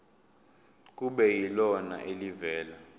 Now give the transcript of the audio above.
kube yilona elivela